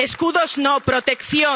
Escudos no, protección.